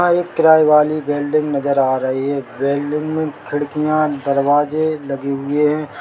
यहाँ एक किराये वाली बिल्डिंग नजर आ रही है बिल्डिंग मे खिड़कियां दरवाजे लगे हुए है।